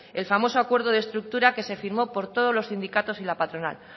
el famoso acuerdo de estructura que se firmó por todos los sindicatos y la patronal